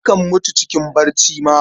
Akan mutu cikin barci ma.